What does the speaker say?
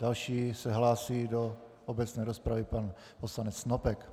Další se hlásí do obecné rozpravy pan poslanec Snopek.